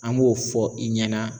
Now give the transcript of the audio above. An b'o fɔ i ɲɛna